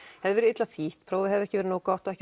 hafi verið illa þýtt prófið hafi ekki verið nógu gott og ekki